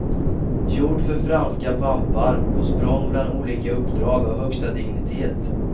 Gjord för franska pampar på språng mellan olika uppdrag av högsta dignitet.